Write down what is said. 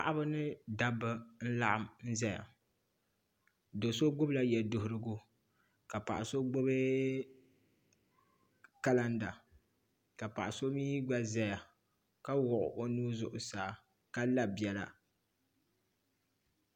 Paɣaba ni dabba n laɣam ʒɛya do so gbubila yɛduɣurigu ka paɣa so gbubi kalanda ka paɣa so mii gba ʒɛya ka wuɣi o nuu zuɣusaa ka la biɛla